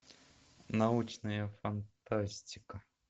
научная фантастика